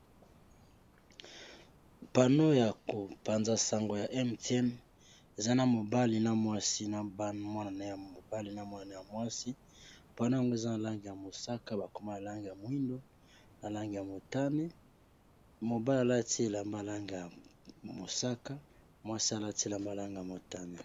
pano ya kopanza sango ya mtin eza na mobali na mwasi na mwana ya mobali na mwana ya mwasi mpona yango eza na lange ya mosaka bakoma alange ya moindo na lange ya motane mobalialatila malange ya mosaka mwasi alatila malange ya motane